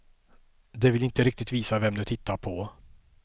De vill inte riktigt visa vem de tittar på.